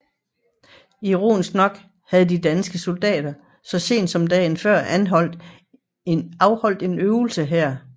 Ironisk nok havde de danske soldater så sent som dagen før afholdt en øvelse her